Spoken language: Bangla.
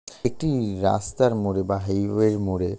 একটি রাস্তার মোড়ে বা হাইওয়ে -র মোড়ে।